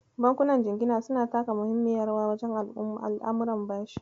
Bankunan jingina suna taka muhimmiyar rawa wajen al'amuran bashi.